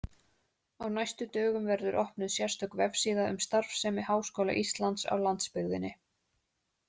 Á næstu dögum verður opnuð sérstök vefsíða um starfsemi Háskóla Íslands á landsbyggðinni.